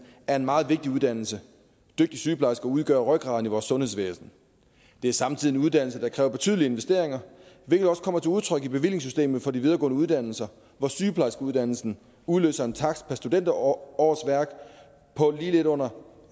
er en meget vigtig uddannelse dygtige sygeplejersker udgør rygraden i vores sundhedsvæsen det er samtidig en uddannelse der kræver betydelige investeringer hvilket også kommer til udtryk i bevillingssystemet for de videregående uddannelser hvor sygeplejerskeuddannelsen udløser en takst per studenterårsværk på lige lidt under